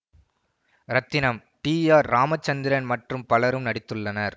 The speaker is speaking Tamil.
ரத்னம் டி ஆர் ராமச்சந்திரன் மற்றும் பலரும் நடித்துள்ளனர்